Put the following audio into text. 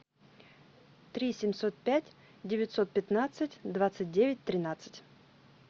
три семьсот пять девятьсот пятнадцать двадцать девять тринадцать